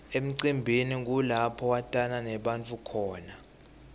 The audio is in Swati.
emcimbini kulapho watana nebantfu khona